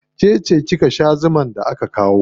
Ke ce kika sha zumar da aka kawo.